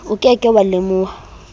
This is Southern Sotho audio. o ke ke wa lemoha